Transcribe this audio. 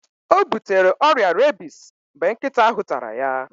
O butere ọrịa rebis mgbe nkịta ahụ tara ya.